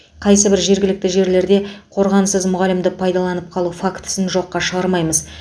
қайсы бір жергілікті жерлерде қорғансыз мұғалімді пайдаланып қалу фактісін жоққа шығармаймыз